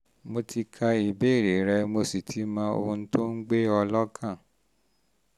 mo ti ka ìbéèrè rẹ mo sì mọ ohun tó ń gbé ọ lọ́kàn